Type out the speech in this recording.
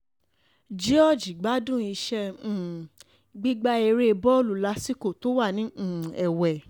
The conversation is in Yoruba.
george gbádùn iṣẹ́ um gbígba ère bọ́ọ̀lù lásìkò tó wà ní um ewé